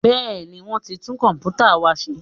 Bẹ́ẹ̀ni, wọ́n ti tún Kọ̀m̀pútà wa ṣe